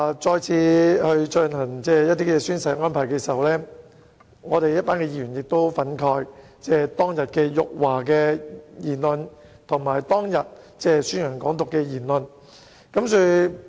在再次進行宣誓安排的時候，我們一群議員對於當天辱華和宣揚"港獨"的言論，感到十分憤慨。